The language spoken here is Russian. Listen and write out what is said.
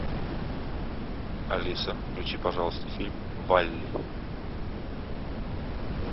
алиса включи пожалуйста фильм валли